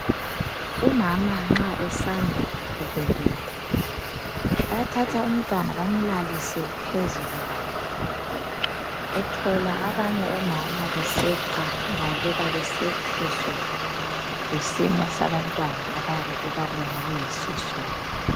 umama nxa esanda kubeletha bayathatha umntwana bamlalise phezu kwakhe uthola abanye omama beseqa bebaleka besethuswa yisimo sabantwana abayabe bebabona beyisosona